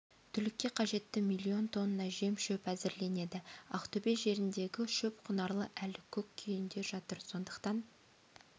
түлікке қажетті миллион тонна жем-шөп әзірленеді ақтөбе жеріндегі шөп құнарлы әлі көк күйінде жатыр сондықтан